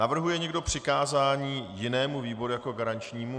Navrhuje někdo přikázání jinému výboru jako garančnímu?